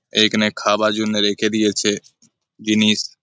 এখানে খাবার জন্য রেখে দিয়েছে জিনিস।